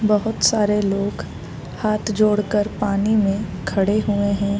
बहुत सारे लोग हाथ जोड़ कर पानी में खड़े हुए हैं।